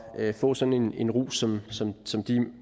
at få sådan en en rus som